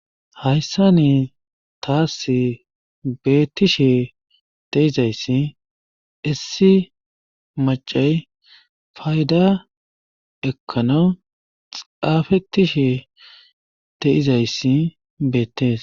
Hayssa ni taas beettishe teizayssi issi macay fayda ekkano xaafetishe teizayssi beettees.